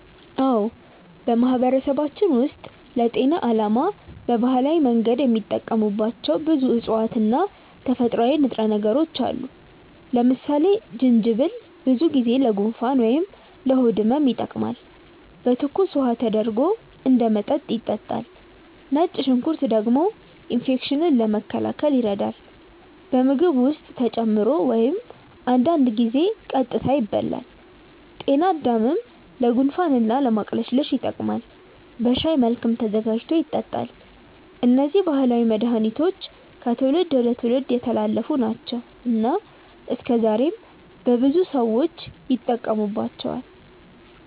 አዎ፣ በማህበረሰባችን ውስጥ ለጤና ዓላማ በባህላዊ መንገድ የሚጠቀሙባቸው ብዙ እፅዋት እና ተፈጥሯዊ ንጥረ ነገሮች አሉ። ለምሳሌ ጅንጅብል ብዙ ጊዜ ለጉንፋን ወይም ለሆድ ህመም ይጠቀማል፤ በትኩስ ውሃ ተደርጎ እንደ መጠጥ ይጠጣል። ነጭ ሽንኩርት ደግሞ ኢንፌክሽንን ለመከላከል ይረዳል፣ በምግብ ውስጥ ተጨምሮ ወይም አንዳንድ ጊዜ ቀጥታ ይበላል። ጤናድምም ለጉንፋን እና ለማቅለሽለሽ ይጠቀማል፤ በሻይ መልክም ተዘጋጅቶ ይጠጣል። እነዚህ ባህላዊ መድሃኒቶች ከትውልድ ወደ ትውልድ የተላለፉ ናቸው እና እስከዛሬም በብዙ ሰዎች ይጠቀሙባቸዋል።